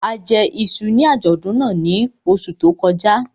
A jẹ iṣu ní àjọ̀dún náà ní oṣù tó kọjá